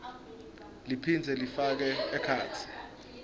liphindze lifake ekhatsi